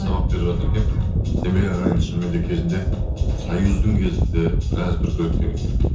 сабақ беріп жатыр екен сенбек ағай енді шынымен де кезінде союздың кезінде біраз дүркіреткен екен